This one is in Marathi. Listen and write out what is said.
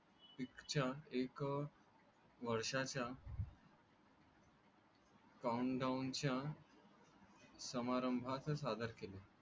ऑलिम्पिक च्या एक वर्षाच्या काउंटडाऊनच्या समारंभात सादर केले.